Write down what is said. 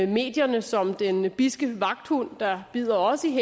medierne som den bidske vagthund der bider os i